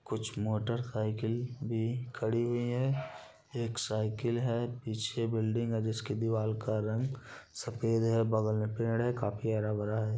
कुछ मोटरसाइकिल भी खड़ी हुई है एक साइकिल है पीछे बिल्डिंग है जिसकी दीवाल का रंग सफेद है। बगल में पेड़ है। काफी हरा-भरा है।